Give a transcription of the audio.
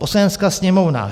"Poslanecká sněmovna